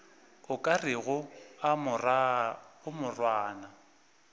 o ka rego a morwana